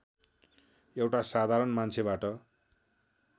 एउटा साधारण मान्छेबाट